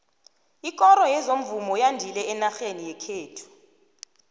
ikoro yezomvumo yandile enarheni yekhethu